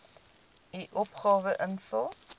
u opgawe invul